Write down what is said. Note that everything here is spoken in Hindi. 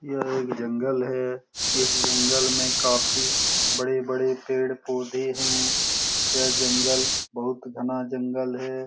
यह एक जंगल है इस जंगल में काफी बड़े-बड़े पेड़-पौधे है यह जंगल बहुत घना जंगल है ।